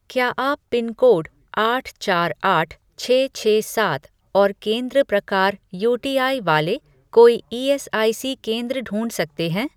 क्या आप पिनकोड आठ चार आठ छः छः सात और केंद्र प्रकार यूटीआई वाले कोई ईएसआईसी केंद्र ढूँढ सकते हैं?